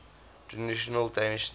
traditional danish names